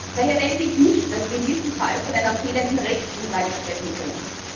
Daher denke ich nicht, dass wir in diesem Fall von einer fehlenden Rechtsgrundlage sprechen können.